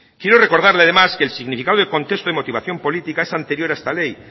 quiero recordarle además que el significado del contexto de motivación política es anterior a esta ley